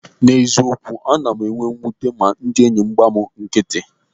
N'eziokwu, ana m enwe mwute ma ndị enyị m gba m nkịtị.